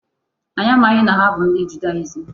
Anyị amaghị na ha bụ ndị Judaism.